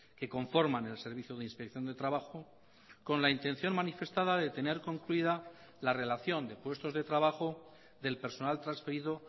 que conforman el servicio de inspección de trabajo con la intención manifestada de tener concluida la relación de puestos de trabajo del personal transferido